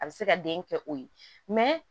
A bɛ se ka den kɛ o ye